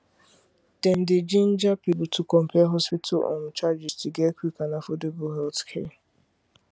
dem dey ginger people to compare hospital um charges to get quick and affordable healthcare